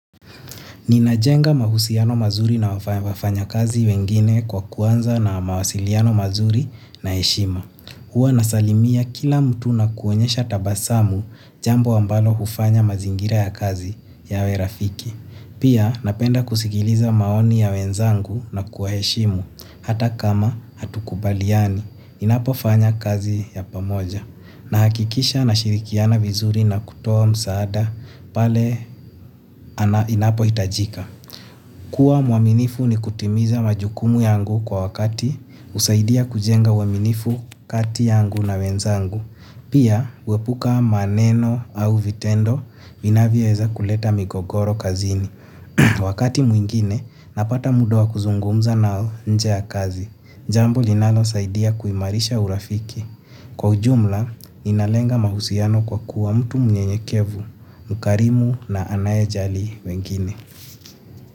Nina jenga mahusiano mazuri na wafanya kazi wengine kwa kuanza na mawasiliano mazuri na heshima. Huwa nasalimia kila mtu na kuonyesha tabasamu jambo ambalo hufanya mazingira ya kazi yawe rafiki. Pia napenda kusikiliza maoni ya wenzangu na kuheshimu hata kama hatukubaliani ninapofanya kazi ya pamoja. Nahakikisha nashirikiana vizuri na kutoa msaada pale inapo itajika. Kua mwaminifu ni kutimiza majukumu yangu kwa wakati usaidia kujenga uwaminifu kati yangu na wenzangu. Pia huepuka maneno au vitendo vinavyoweza kuleta migogoro kazini. Wakati mwingine, napata muda wa kuzungumza nao nje ya kazi. Jambo linalo saidia kuimarisha urafiki. Kwa ujumla, inalenga mahusiano kwa kuwa mtu mnyenyekevu, mkarimu na anaye jali wengine.